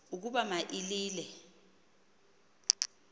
ukuba ma ilile